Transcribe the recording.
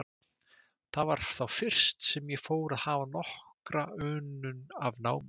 Það var þá fyrst, sem ég fór að hafa nokkra unun af námi.